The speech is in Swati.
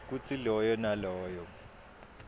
kutsi loyo naloyo